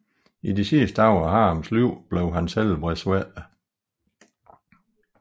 I de sidste dage i Haruns liv blev hans helbred svækket